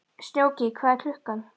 Snjóki, hvað er klukkan?